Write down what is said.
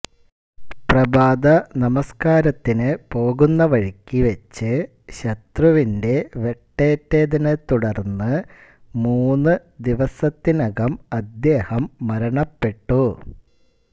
പ്രഭാത നമസ്കാരത്തിനു പോകുന്ന വഴിക്ക് വെച്ച് ശത്രുവിന്റെ വെട്ടേറ്റതിനെ തുടർന്ന് മൂന്ന് ദിവസത്തിനകം അദ്ദേഹം മരണപ്പെട്ടു